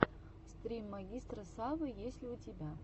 стрим магистра савы есть ли у тебя